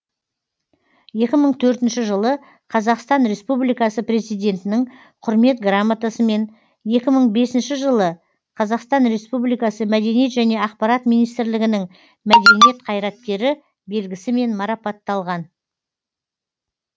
екі мың төртінші жылы қазақстан республикасы президентінің құрмет грамотасымен екі мың бесінші жылы қазақстан республикасы мәдениет және ақпарат министрлігінің мәдениет қайраткері белгісімен марапатталған